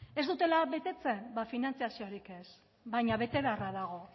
ez dutela betetzen ba finantzaziorik ez baina bete beharra dago